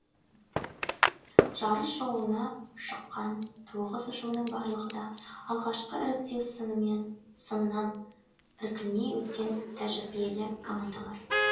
жарыс жолына шыққан тоғыз ұжымның барлығы да алғашқы іріктеу сынынан іркілмей өткен тәжірибелі командалар